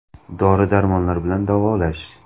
Dori – darmonlar bilan davolash.